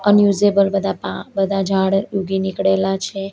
Unusable પા બધા ઝાડ ઊગી નીકળેલા છે.